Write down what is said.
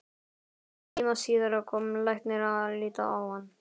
Hálftíma síðar kom læknir að líta á hann.